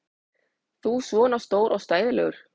Þú svona stór og stæðilegur!